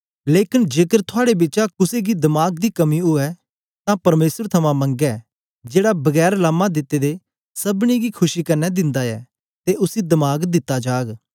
लेकन जेकर थुआड़े बिचा कुसे गी दमाक दी कमी उवै तां परमेसर थमां मंगै जेड़ा बगैर लामां दिते दे सबनी गी खुशी कन्ने दिंदा ऐ ते उसी दमाग दित्ता जाग